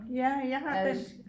Ja jeg har vist